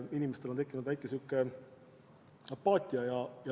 Inimestel on tekkinud kerge apaatia.